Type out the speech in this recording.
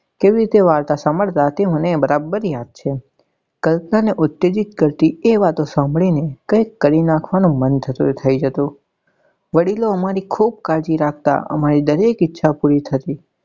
કેવી રીતે વાર્તા સાંભળતા તે મને બરાબર યાદ છે એ વાતો સાંભળી ને કઈક કરી નાખવા નું મન થતું થઇ જતું વડીલો અમારી ખુબ કાળજી રાખતા અમારી દરેક ઈચ્છા પૂરી થતી.